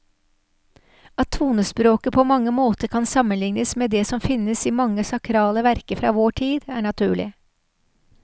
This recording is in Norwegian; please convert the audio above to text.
At tonespråket på mange måter kan sammenlignes med det som finnes i mange sakrale verker fra vår tid, er naturlig.